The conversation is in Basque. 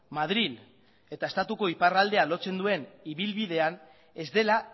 madril eta estatuko iparraldea lotzen duen ibilbidea ez dela